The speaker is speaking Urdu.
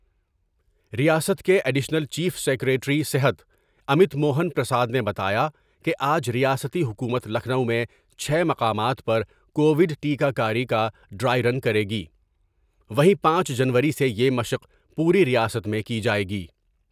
ریاست کے ایڈیشنل چیف سکریٹری صحت امت موہن پرساد نے بتایا کہ آج ریاستی حکومت لکھنؤ میں چھ مقامات پر کوڈ ٹیکہ کاری کا ڈرائی رن کر یگی ، وہیں پانچ جنوری سے یہ مشق پوری ریاست میں کی جاۓ گی ۔